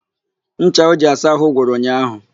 Ncha o ji asa àhụ́ gwụrụ ụnyaahụ.